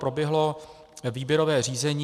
Proběhlo výběrové řízení.